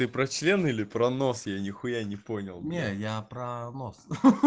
ты про член или про нос я нихуя не понял не я про нос